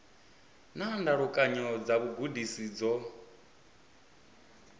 na ndalukanyo dza vhugudisi dzo